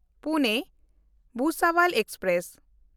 ᱯᱩᱱᱮ–ᱵᱷᱩᱥᱟᱵᱚᱞ express